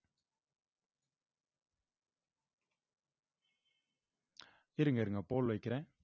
இருங்க இருங்க pole வைக்கிறேன்